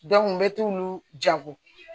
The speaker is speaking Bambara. n bɛ t'olu jago